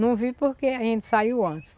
Não vi porque a gente saiu antes.